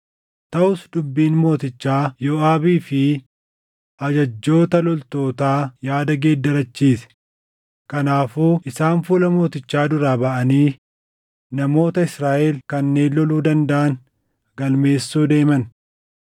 Taʼus dubbiin mootichaa Yooʼaabii fi ajajjoota loltootaa yaada geeddarachiise; kanaafuu isaan fuula mootichaa duraa baʼanii namoota Israaʼel kanneen loluu dandaʼan galmeessuu deeman.